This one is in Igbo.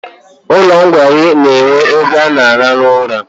Ụlọ nkwari na-enwe ebe ịrahụ ụra.